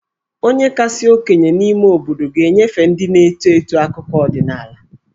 Onye kasị okenye n'ime obodo ga-enyefe ndị na-eto eto akụkọ ọdịnaala.